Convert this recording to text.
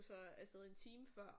Så afsted en time før